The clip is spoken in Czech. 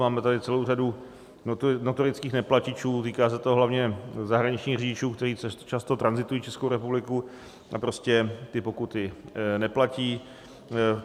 Máme tady celou řadu notorických neplatičů, týká se to hlavně zahraničních řidičů, kteří často tranzitují Českou republikou a prostě ty pokuty neplatí.